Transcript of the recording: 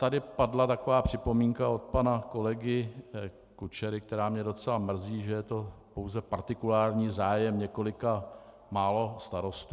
Tady padla taková připomínka od pana kolegy Kučery, která mě docela mrzí, že je to pouze partikulární zájem několika málo starostů.